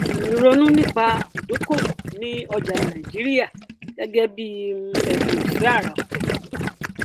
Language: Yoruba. um ronú nípa ìdókòwò ní ọjà nàìjíríà gẹgẹ bí um ẹbùn ìfẹ àrà ọtọ